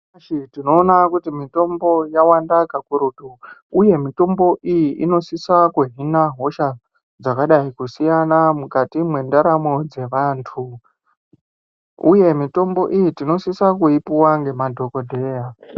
Nyamashi tinoona kuti mitombo yawanda kakurutu, uye mitombo iyi inosisa kuhina hosha dzakadai kusiyana mukati mwendaramo dzevantu, uye mitombo iyi tinosisa kuipuwa ngemadhokodheya.